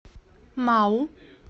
мау